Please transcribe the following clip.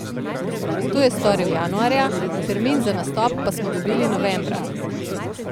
To je storil januarja, termin za nastop pa smo dobili novembra.